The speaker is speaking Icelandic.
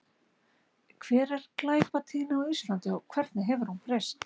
Hver er glæpatíðni á Íslandi og hvernig hefur hún breyst?